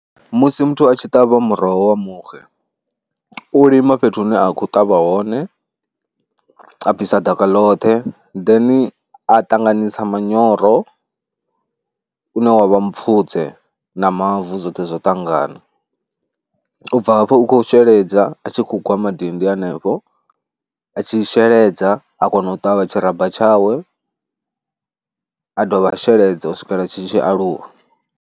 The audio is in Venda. Musi muthu a tshi ṱavha muroho wa muxe, u lima fhethu hune a khou ṱavha hone, a bvisa ḓaka ḽoṱhe then a ṱanganisa manyoro une wa vha mupfhudze na mavu zwoṱhe zwo ṱangana. U bva hafho u khou sheledza a tshi khou gwa madindi hanefho, a tshi sheledza a kona u ṱavha tshiramba tshawe a dovha a sheledza u swikela tshi tshi aluwa.